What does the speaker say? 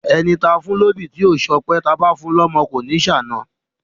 Ẹni táa fún lóbì tí ò ṣọpẹ́, báa fun lọ́mọ kò ní ṣàna.